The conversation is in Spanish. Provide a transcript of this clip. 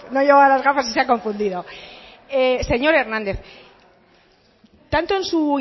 y se ha confundido señor hernández tanto en su